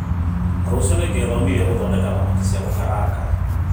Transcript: Rũciũ nĩngethomithia gũthondeka thamaki cia gũkaranga